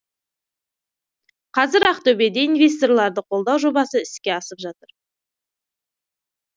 қазір ақтөбеде инвесторларды қолдау жобасы іске асып жатыр